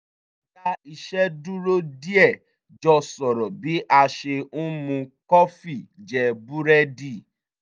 a dá iṣẹ́ dúró díẹ̀ jọ sọ̀rọ̀ bí a ṣe ń mu kọfí jẹ búrẹ́dì